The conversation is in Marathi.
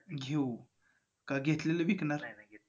घेऊ. का घेतलेलं विकणार आहे?